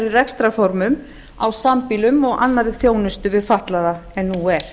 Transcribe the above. rekstrarformum á sambýlum og annarri þjónustu við fatlaða en nú er